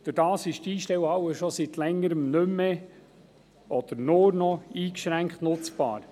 Dadurch ist sie schon seit längerer Zeit nur noch eingeschränkt nutzbar.